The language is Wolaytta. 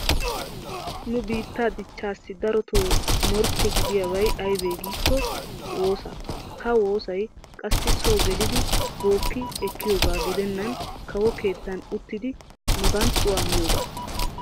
Nu biittaa dichchaassi daroto morkke gidiyaabay aybee giikko wuussaa. Ha wuussay qassi so gelidi bookki ekkiyoogaa gidennan kawo keettan oottiiddi maganxxuwa miyogaa.